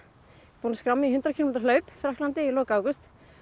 búin að skrá mig í hundrað kílómetra hlaup í Frakklandi í lok ágúst